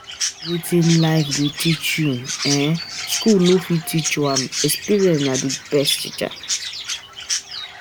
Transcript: um Wetin life life go teach you, um school no fit teach you am, experience na di best teacher